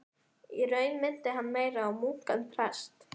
Í raun minnti hann meira á munk en prest.